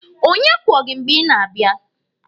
Onye kwọ gị mgbe ị na-abịa?